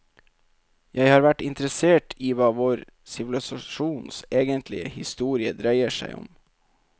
Jeg har vært interessert i hva vår sivilisasjons egentlige historie dreier seg om.